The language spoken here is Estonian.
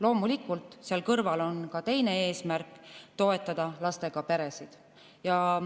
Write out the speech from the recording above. Loomulikult, seal kõrval on ka teine eesmärk: toetada lastega peresid.